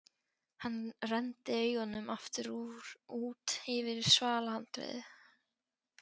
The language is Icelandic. Hann renndi augunum aftur út yfir svalahandriðið.